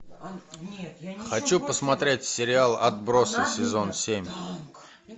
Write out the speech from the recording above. хочу посмотреть сериал отбросы сезон семь